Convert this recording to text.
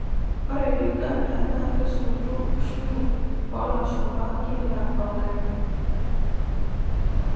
Ore Uganda naa kesotu ushuru olashumba kila olari.